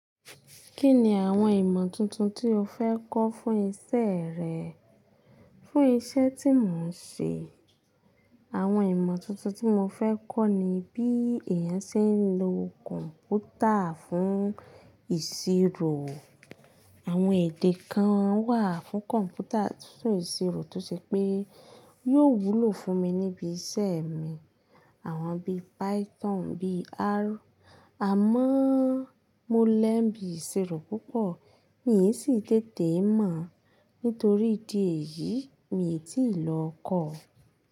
Kí ni àwọn ìmọ̀ tuntun tí o fẹ́ kọ́ fún iṣẹ́ rẹ? Fún iṣẹ́ tí mò ń ṣe, àwọn ìmọ̀ tuntun tí mo fẹ́ kọ́ ni bí èèyàn ṣe ń lo kọ̀ǹpútà fún ìṣirò. Àwọn èdè kan wà fún kọ̀ǹpútà tó ìṣirò tó ṣe pé yóò wúlò fún mi níbí iṣẹ́ mi. Àwọn bí Python, bí R. Àmọ́ mo lẹ́ bi ìṣirò púpọ̀ mi sì tètè mọ̀. Nítorí ìdí èyí, mi ò tíì lọ kọ́.